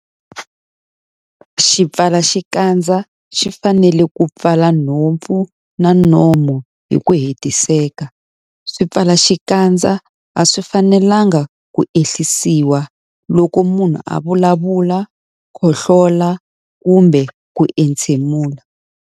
Xipfalaxikandza xi fanele ku pfala nhompfu na nomo hi ku hetiseka. Swipfalaxikandza a swi fanelanga ku ehlisiwa loko munhu a vulavula, khohloLa kumbe ku entshemula.